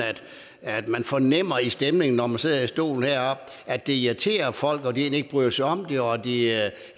at man fornemmer på stemningen når man sidder i stolen heroppe at det irriterer folk at de egentlig ikke bryder sig om det og at de